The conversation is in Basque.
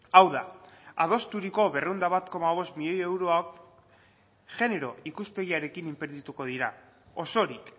hau da adosturiko berrehun eta bat koma bost milioi euroak genero ikuspegiarekin inbertituko dira osorik